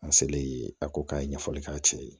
A selen ye a ko k'a ye ɲɛfɔli k'a cɛ ye